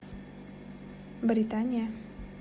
британия